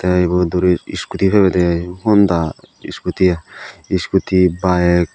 te ibot duris iskuti pebede i honda iskuti baek.